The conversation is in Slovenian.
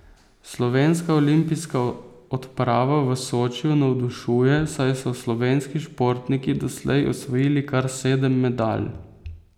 Slovenska olimpijska odprava v Sočiju navdušuje, saj so slovenski športniki doslej osvojili kar sedem medalj.